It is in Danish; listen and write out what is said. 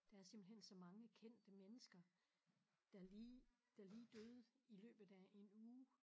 Der er simpelthen så mange kendte mennesker der lige der lige døde i løbet af en uge